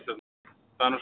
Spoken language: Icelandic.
Það er nú svo einfalt.